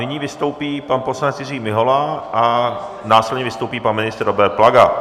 Nyní vystoupí pan poslanec Jiří Mihola a následně vystoupí pan ministr Robert Plaga.